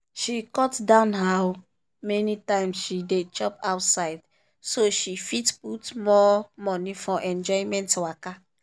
she cut down how many times she dey chop outside so she fit put more money for enjoyment waka.